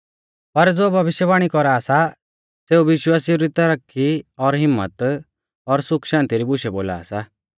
पर ज़ो भविष्यवाणी कौरा सा सेऊ विश्वासिऊ री तरक्की और हिम्मत और सुख शान्ति री बुशै बोला सा